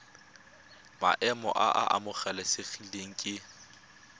maemo a a amogelesegang ke